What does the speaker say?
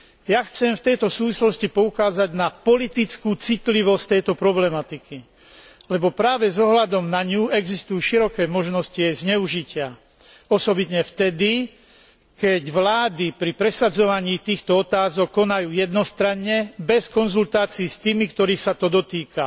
Ja chcem v tejto súvislosti poukázať na politickú citlivosť tejto problematiky, lebo práve s ohľadom na ňu existujú široké možnosti jej zneužitia, osobitne vtedy, keď vlády pri presadzovaní týchto otázok konajú jednostranne, bez konzultácií s tými, ktorých sa to dotýka.